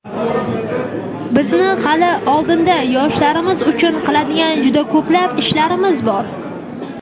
Bizni hali oldinda yoshlarimiz uchun qiladigan juda ko‘plab ishlarimiz bor.